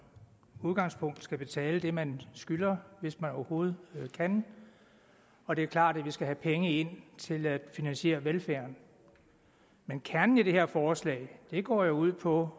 udgangspunkt skal betale det man skylder hvis man overhovedet kan og det er klart at vi skal have penge ind til at finansiere velfærden men kernen i det her forslag går jo ud på